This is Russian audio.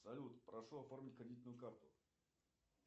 салют прошу оформить кредитную карту